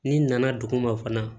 N'i nana dugu ma fana